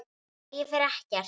Nei, ég fer ekkert.